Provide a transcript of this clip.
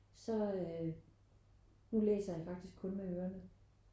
Så øh nu læser jeg faktisk kun med ørerne